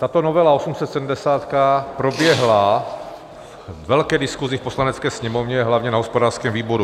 Tato novela 870 proběhla ve velké diskusi v Poslanecké sněmovně hlavně na hospodářském výboru.